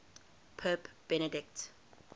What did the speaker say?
pope benedict